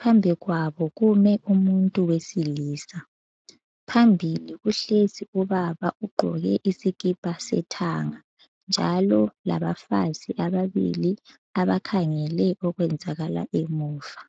phambi kwabo kume umuntu wesilisa. Phambili kuhlezi ubaba ugqoke isikipa sethanga njalo labafazi ababili abakhangele okwenzakala emuva.